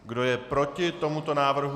Kdo je proti tomuto návrhu?